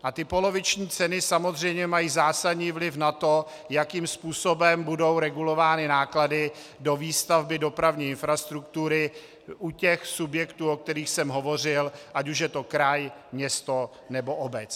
A ty poloviční ceny samozřejmě mají zásadní vliv na to, jakým způsobem budou regulovány náklady do výstavby dopravní infrastruktury u těch subjektů, o kterých jsem hovořil, ať už je to kraj, město nebo obec.